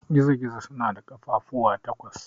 Gizo-gizo suna da ƙafafuwa takwas.